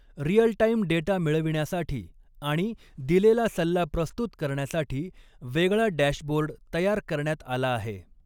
Real time data मिळविण्यासाठी आणि दिलेला सल्ला प्रस्तुत करण्यासाठी वेगळा डॅशबोर्ड तयार करण्यात आलाआहे.